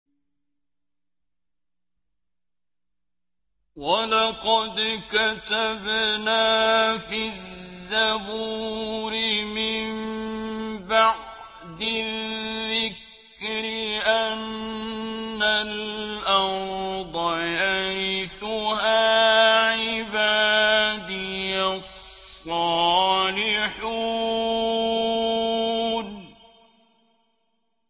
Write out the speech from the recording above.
وَلَقَدْ كَتَبْنَا فِي الزَّبُورِ مِن بَعْدِ الذِّكْرِ أَنَّ الْأَرْضَ يَرِثُهَا عِبَادِيَ الصَّالِحُونَ